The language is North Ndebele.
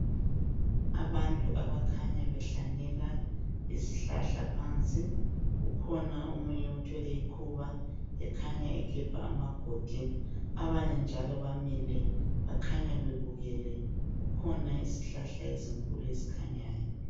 Abantu abakhanya behlanyela izihlahla phansi .Kukhona omunye othwele ikhuba ekhanya egebha amagodi. Abanye njalo bamile, bakhanya bebukele. Kukhona izihlahla ezinkulu ezikhanyayo.